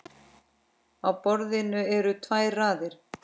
Á borðinu eru tvær raðir.